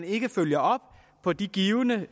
ikke følger op på de givne